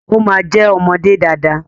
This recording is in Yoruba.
O ma jẹ ọmọdé dada.